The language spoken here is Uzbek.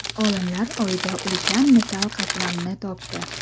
Olimlar Oyda ulkan metall qatlamni topdi.